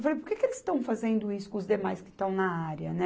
Eu falei, por que que eles estão fazendo isso com os demais que estão na área, né?